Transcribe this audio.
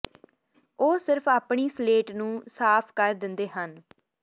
ਉਹ ਸਿਰਫ ਆਪਣੀ ਸਲੇਟ ਨੂੰ ਸਾਫ਼ ਕਰ ਦਿੰਦੇ ਹਨ